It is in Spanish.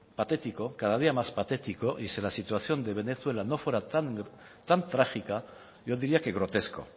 patético cada día más patético y si la situación de venezuela no fuera tan trágica yo diría que grotesco